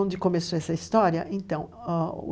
Onde começou essa história? Então,